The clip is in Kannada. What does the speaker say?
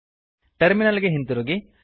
ಟರ್ಮಿನಲ್ ಗೆ ಹಿಂದಿರುಗಿ